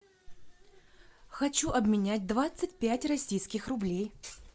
хочу обменять двадцать пять российских рублей